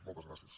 moltes gràcies